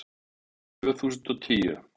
Tvö þúsund og tíu